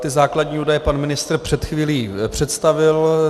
Ty základní údaje pan ministr před chvílí představil.